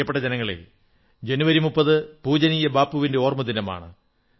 പ്രിയപ്പെട്ട ജനങ്ങളേ ജനുവരി 30 പൂജനീയ ബാപ്പുവിന്റെ ഓർമ്മദിനമാണ്